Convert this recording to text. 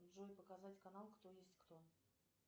джой показать канал кто есть кто